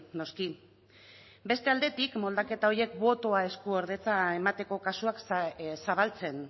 noski beste aldetik moldaketa horiek botoa eskuordetza emateko kasuak zabaltzen